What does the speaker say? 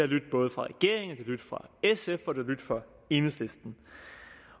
lydt både fra regeringen sf og enhedslisten